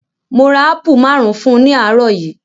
Mo ra ápù maárùn-ún fún ní àárọ̀ yìí.